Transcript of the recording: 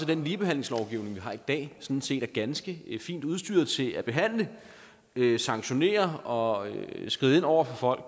den ligebehandlingslovgivning vi har i dag sådan set er ganske fint udstyret til at behandle sanktionere og skride ind over for